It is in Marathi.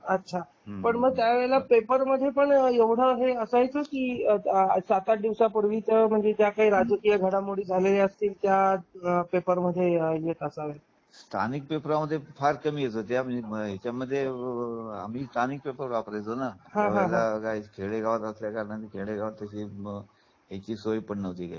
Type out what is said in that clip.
अच्छा पण मग त्यावेळेला पेपर मध्ये पण हे एवढ असायचं कि सात आठ दिवसापूर्वीच म्हणजे ज्या काही राजकीय घडामोडी झाल्या असतील त्या पेपर मध्ये येत त्या सांगा स्थानिक पेपर मध्ये फार कमी येत होत्या त्याच्या मध्ये हो आम्ही स्थानिक पेपर वापरायचो ना खेडेगावात असल्याकारनाने खेड़ेगावात त्याची सोय पण नव्हती काही